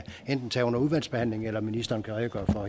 tage under udvalgsbehandlingen eller at ministeren kan redegøre for